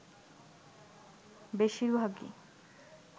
বেশির ভাগই